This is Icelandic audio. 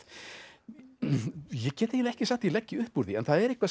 ég get eiginlega ekki sagt að ég leggi upp úr því en það er eitthvað sem